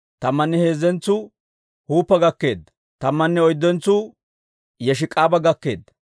Tammanne heezzentsuu Huppa gakkeedda. Tammanne oyddentsuu Yesheka'aaba gakkeedda.